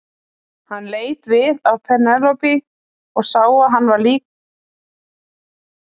Hann leit við á Penélope og sá að henni var líka starsýnt á konuna.